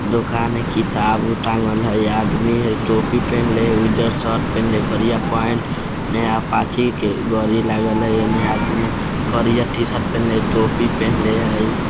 दुकान हई किताबो टाँगल हई आदमी हई टोपी पेहनले हई उजर शर्ट पेहनले हई करिया पैंट नया पाची के गाडी लागल हई ओने आदमी करिया टीशर्ट पेहनले हई टोपी पेहनले हई |